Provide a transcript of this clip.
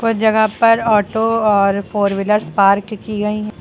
कुछ जगह पर ऑटो और फोर व्हीलर पार्क की गई--